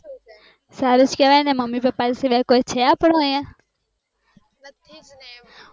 સૃજ કેવાય ને mummy papa સિવાય કોઈ છે અપ્ડું યા